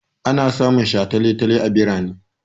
Ana samun shataletale a birane.